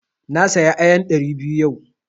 Na saya ayan ɗari biyu yau.